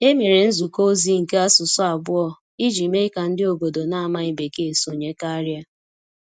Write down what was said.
E mere nzukọ ozi nke asụsụ abụọ iji mee ka ndị obodo na-amaghị Bekee sonye karịa.